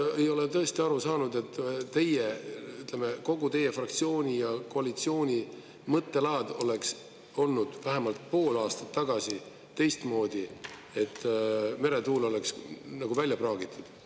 Mina ei ole tõesti aru saanud, et teie, ütleme, kogu teie fraktsiooni ja koalitsiooni mõttelaad oleks olnud vähemalt pool aastat tagasi teistmoodi, et meretuul oleks nagu välja praagitud.